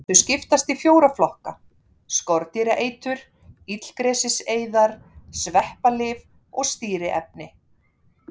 Þau skiptast í fjóra flokka: Skordýraeitur, illgresiseyðar, sveppalyf og stýriefni.